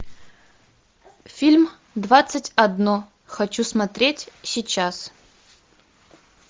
фильм двадцать одно хочу смотреть сейчас